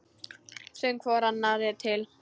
Sögðum hvor annarri allt.